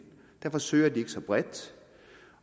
derfor søger de ikke så bredt